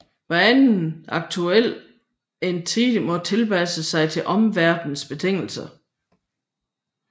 Anhver aktuel entitet må tilpasse sig til omverdenens betingelser